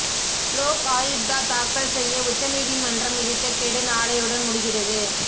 லோக் ஆயுக்தா தாக்கல் செய்ய உச்ச நீதிமன்றம் விதித்த கெடு நாளையுடன் முடிகிறது